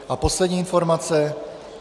A poslední informace.